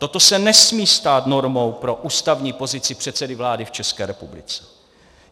Toto se nesmí stát normou pro ústavní pozici předsedy vlády v České republice.